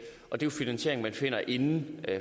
og det er finansiering man finder inden